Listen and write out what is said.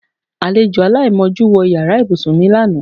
Alejò aláìmojú wo̩ yàrá ìbúsùn mi lánàá.